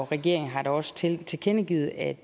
regeringen har da også tilkendegivet at